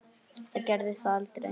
Það gerði það aldrei.